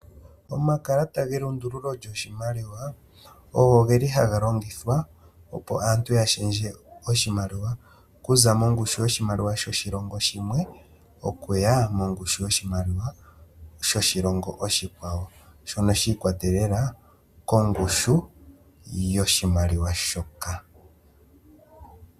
Omakalata ge lundululo lyo shimaliwa ogo geli haga longithwa opo aantu ya shendje oshimaliwa, okuza mongushu yoshimaliwa yoshilongo shimwe okuya mongushu yoshimaliwa oshikwawo, ano sha ikwatelela ko ngushu yoshimaliwa shoka.